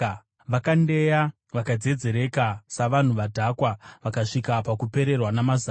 Vakandeya vakadzedzereka savanhu vadhakwa; vakasvika pakupererwa namazano.